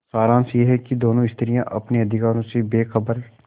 सारांश यह कि दोनों स्त्रियॉँ अपने अधिकारों से बेखबर